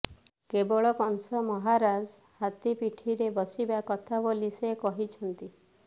କେବଳ କଂସ ମହାରାଜ ହାତୀ ପିଠିରେ ବସିବା କଥା ବୋଲି ସେ କହିଛନ୍ତି